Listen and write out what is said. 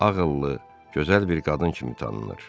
Ağıllı, gözəl bir qadın kimi tanınır.